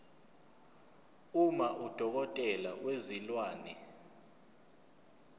uma udokotela wezilwane